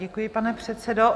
Děkuji, pane předsedo.